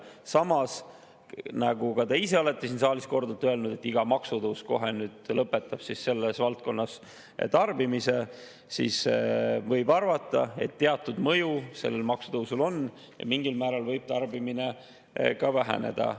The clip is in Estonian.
Samas, te ise olete siin saalis korduvalt öelnud, iga maksutõus lõpetab kohe selles valdkonnas tarbimise, seega võib arvata, et teatud mõju sellel maksutõusul on, mingil määral võib tarbimine väheneda.